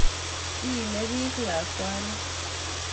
iimi biich lakwani